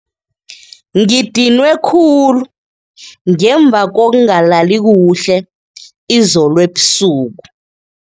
Ngidinwe khulu ngemva kokungalali kuhle izolo ebusuku.